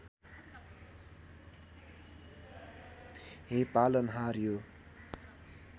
हे पालनहार यो